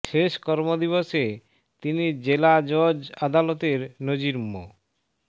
শেষ কর্ম দিবসে তিনি জেলা জজ আদালতের নাজির মো